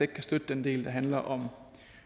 kan støtte den del der handler om